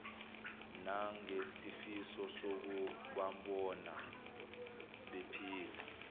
nangesifiso sokubabona bephila